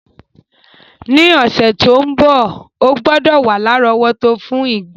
Ni òsẹ̀ to n bo, o gbúdọ̀ wa lárọ̀wọ́tó fún ìgbá...